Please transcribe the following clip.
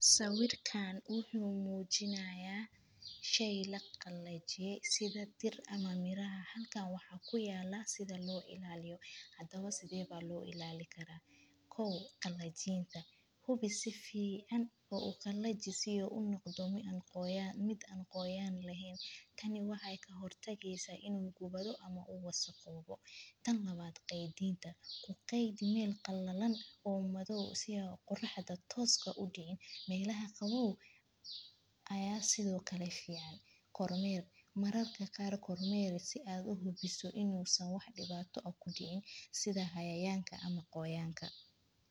Sawirkaan wuxu muujinayaa shay la qallajisiday tir ama miraha. Halkaan waxaa ku yaala sida loo ilaaliyo hadaba sidee ba loo ilaali karaa koow qallajiinta hubi si fiican oo u kalla jisiyo unugdhami mid aan qoyaan laheyn. tani waxay ka hortagaysaa inuu gubado ama u wasa qowo bo tan labaad. Qeediinta ku qeeyd meel qallalan oo madow si qorraxda tooska u dhign. Meelaha kabob ayaa sidoo kale ficaan. Kormeer mararka qaar kormeer si aad u hubiso inuu sameeyo wax dhibaato ah ku diin sida cayayaanka ama qoyaanka.